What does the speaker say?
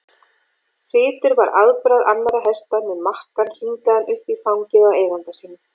Þytur var afbragð annarra hesta með makkann hringaðan upp í fangið á eiganda sínum.